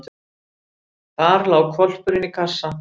Þar lá hvolpurinn í kassa.